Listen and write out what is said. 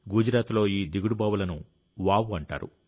గుజరాత్లో ఈ దిగుడు బావుల ను వావ్ అంటారు